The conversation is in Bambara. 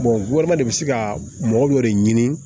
de bɛ se ka mɔgɔ dɔ de ɲini